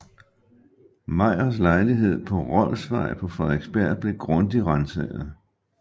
Meyers lejlighed på Rolfsvej på Frederiksberg blev grundigt ransaget